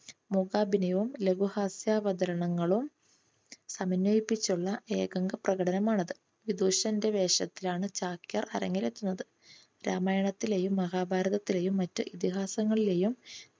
മൂകാഭിനയവും ലഘു ഹാസ്യാവതരണങ്ങളും സമന്വയിപ്പിച്ചുള്ള ഏകാംഗ പ്രകടനമാണ് അത്. വിദൂഷന്റെ വേഷത്തിലാണ് ചാക്യാർ അരങ്ങിലെത്തുന്നത്. രാമായണത്തിലെയും മഹാഭാരതത്തിലെയും മറ്റു ഇതിഹാസങ്ങളിലെയും